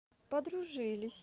подружились